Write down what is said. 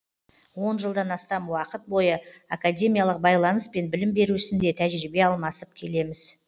он жылдан астам уақыт бойы академиялық байланыс пен білім беру ісінде тәжірибе алмасып келеміз